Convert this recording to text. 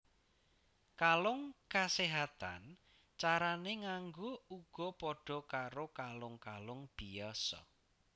Kalung kaséhatan carané nganggo uga padha karo kalung kalung biyasa